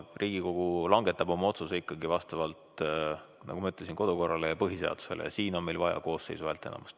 Riigikogu langetab oma otsuse ikkagi vastavalt kodukorrale ja põhiseadusele ja siin on meil vaja koosseisu häälteenamust.